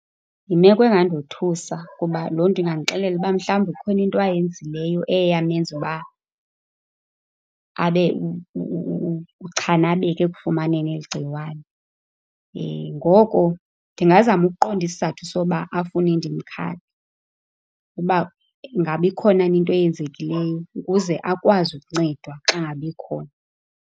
Yimeko engandothusa ngoba loo nto ingandixelela uba mhlawumbi kukhona into ayenzileyo eyamenza uba abe uchanabeke ekufumaneni eli gciwane. Ngoko ndingazama ukuqonda isizathu soba afune ndimkhaphe uba ingaba ikhona na into eyenzekileyo, ukuze akwazi ukuncedwa xa ngaba ikhona.